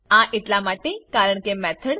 આ એટલા માટે કારણકે મેથોડ